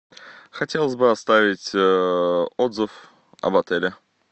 хотелось бы оставить отзыв об отеле